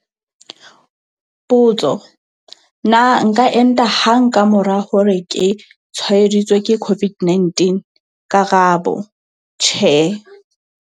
Potso- Na nka enta hang ka mora hore ke tshwaeditswe ke COVID-19? Karabo- Tjhe.